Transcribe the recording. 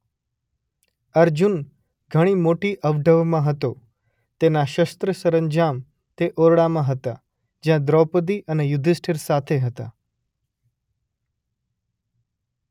અર્જુન ઘણી મોટી અવઢવમાં હતો તેના શસ્ત્ર સરંજામ તે ઓરડામાં હતાં જ્યાં દ્રૌપદી અને યુધિષ્ઠિર સાથે હતાં.